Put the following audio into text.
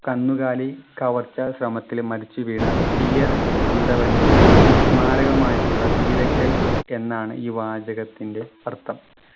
കന്നുകാലി കവർച്ചാ ശ്രമത്തിൽ മരിച്ചു വീണ തീയർ അന്തവൻ്റെ സ്മാരകമായിട്ടുള്ള വീരക്കൽ എന്നാണ് ഈ വാചകത്തിൻ്റെ അർത്ഥം